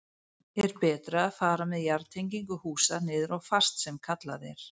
Er betra að fara með jarðtengingu húsa niður á fast sem kallað er?